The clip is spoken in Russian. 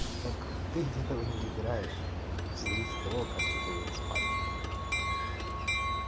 так ты где-то его не выбираешь это просто зависит от того как ты привык спать